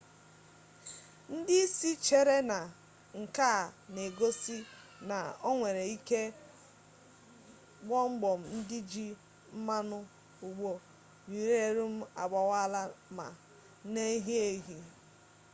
ndị isi chere na nke a na-egosi na o nwere ike gbọmgbọm ndị ji mmanụ ụgbọ yurenium agbawaala ma na-ehi ehi